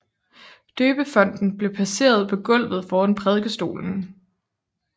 Døbefonten blev placeret på gulvet foran prædikestolen